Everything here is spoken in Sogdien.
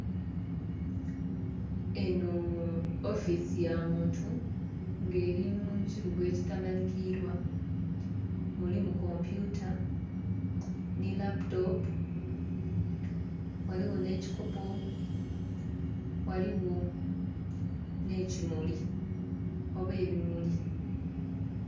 Eno ofiisi ya muntu nga eri mukibuga ekitamanhikirwa mulimu kompyuta n'eraputopu ghaligho n'ekikopo ghaligho n'ekimuli oba ebimuli.